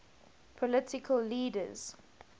political leaders